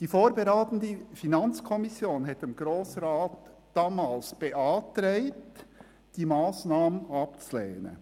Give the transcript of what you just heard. Die vorberatende FiKo hatte dem Grossen Rat damals beantragt, diese Massnahme abzulehnen.